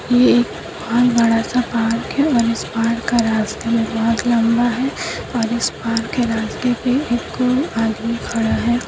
यह एक बहुत बड़ा-सा पहाड़ की और इस पहाड़ का रास्ता बहुत लंबा है और इस पहाड़ के रास्ते पे एक आदमी खड़ा है।